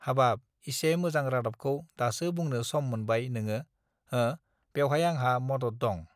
हाबाब इसे मोजां रादाबखौ दासो बुंनो सम मोनबाय नोंङो हो बेवहाय आंहा मदद दं